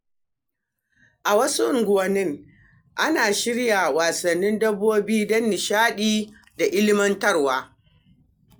A wasu unguwanni, ana shirya wasannin dabbobi don nishaɗi da ilmantarwa.